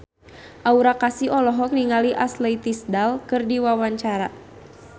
Aura Kasih olohok ningali Ashley Tisdale keur diwawancara